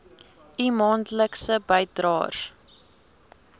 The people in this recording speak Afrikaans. u maandelikse bydraes